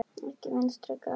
Ekki Vinstri græn.